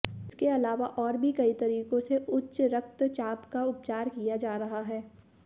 इसके अलावा और भी कई तरीकों से उच्च रक्तचाप का उपचार किया जा रहा है